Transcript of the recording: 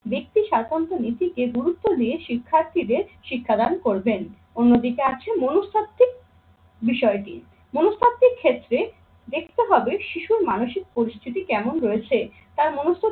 ব্যক্তি সাতন্ত্রনীতিকে গুরুত্ব দিয়ে শিক্ষার্থীদের শিক্ষাদান করবেন। অন্যদিকে আছে মনস্তাত্ত্বিক বিষয়টি। মনস্তাত্ত্বিক ক্ষেত্রে দেখতে হবে শিশুর মানসিক পরিস্থিতি কেমন রয়েছে তার মনুষত্বের